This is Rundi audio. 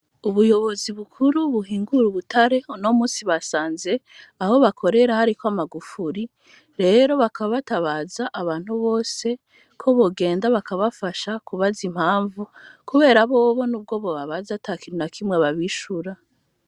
Ubuyobozi bukuru, buhingura ubutare, uno munsi, basanze aho bakorera, hariko amagufuri; rero, bakaba batabaza, abantu bose, ko bogenda bakabafasha, kubaza impamvu; kubera bobo, n'ubwo bobabaza, ata kintu na kimwe, babishura.